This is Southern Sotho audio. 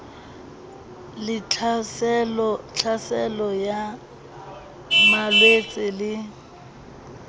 le tlhaselo ya malwetse le